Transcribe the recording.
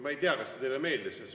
Ma ei tea, kas see teile meeldis.